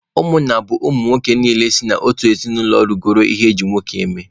Ụmụnna bụ ụmụ nwoke niile si n'otu ezinụlọ rugoro ihe eji nwoke eme